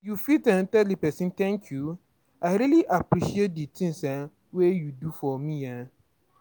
you fit um tell di person "Thank you, I really appreciate di things um wey you do for um me"